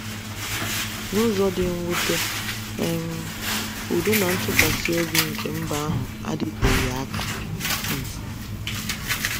N’ụzọ dị mwute um, udo na ntụkwasị obi nke mba ahụ adịteghị aka um.